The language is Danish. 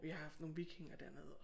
Vi har haft nogle vikinger dernede